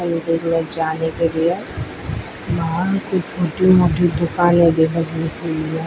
मंदिर में जाने के लिए बाहर कुछ छोटी मोटी दुकाने भी लगी हुई है।